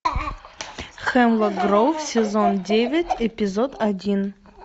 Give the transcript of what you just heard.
хемлок гроув сезон девять эпизод один